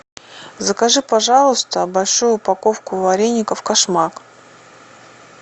закажи пожалуйста большую упаковку вареников кошмак